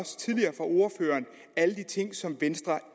alle de ting som venstre